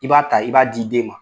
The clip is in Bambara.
I b'a ta , i b'a di den ma.